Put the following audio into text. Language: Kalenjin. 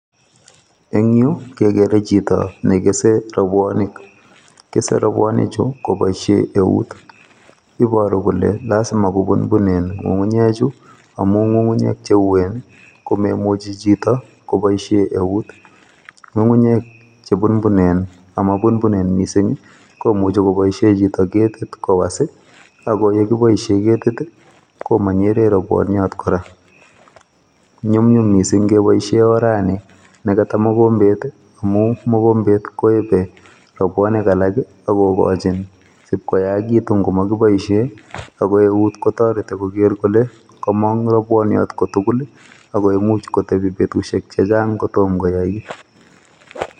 Eng yu kekere chito ne kesei rubuonik, kesei rubuoinichu koboishe eut iboru kole lazima kobunbun kukunyeju amu kukunyek che uen komemuchi chito koboishe eut. Kukunyek che bunbunen ama bunbunen missing komuchi koboishe chito ketit kowos ak yekiboishe ketit ko manyere rubuniot kora. Nyumyum missing keboishe orani ne kata mokombet amu mokombet koebei rubuoink alak akokochin sipkoyaitu ngomakiboishe ako eut kotoreti koker kole komong robuniot kotugul ako imuch kotebi betusiek chechang kotom koyait.